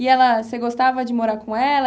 E ela, você gostava de morar com ela?